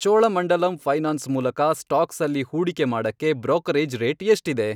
Cholamandalam finance ಮೂಲಕ ಸ್ಟಾಕ್ಸಲ್ಲಿ ಹೂಡಿಕೆ ಮಾಡಕ್ಕೆ ಬ್ರೋಕರೇಜ್ ರೇಟ್ ಎಷ್ಟಿದೆ?